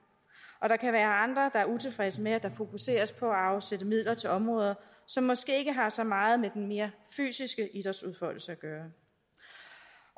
og der kan være andre der er utilfredse med at der fokuseres på at afsætte midler til områder som måske ikke har så meget med den mere fysiske idrætsudfoldelse at gøre